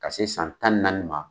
Ka se san tan ni naani ma